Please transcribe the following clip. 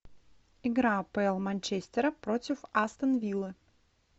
игра апл манчестера против астон виллы